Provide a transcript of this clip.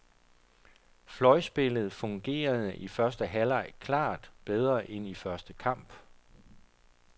Fløjspillet fungerede i første halvleg klart bedre end i den første kamp.